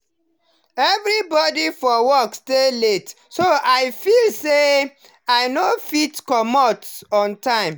everybody for work stay late so i feel say, i no fit comot on time.